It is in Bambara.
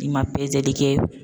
I ma pezeli kɛ